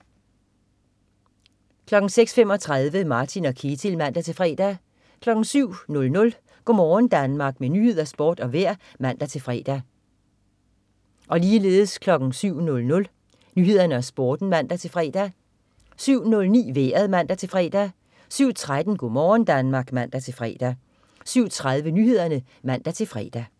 06.35 Martin og Ketil (man-fre) 07.00 Go' morgen Danmark med nyheder, sport og vejr (man-fre) 07.00 Nyhederne og Sporten (man-fre) 07.09 Vejret (man-fre) 07.13 Go' morgen Danmark (man-fre) 07.30 Nyhederne (man-fre)